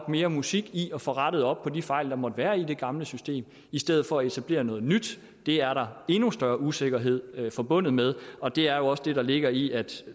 mere musik i at få rettet op på de fejl der måtte være i det gamle system i stedet for at etablere noget nyt det er der endnu større usikkerhed forbundet med og det er jo også det der ligger i at